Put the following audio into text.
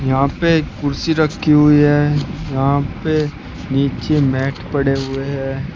यहां पे कुर्सी रखी हुई है यहां पे नीचे मैट पड़े हुए हैं।